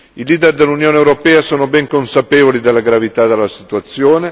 I leader dell'Unione europea sono ben consapevoli della gravità della situazione.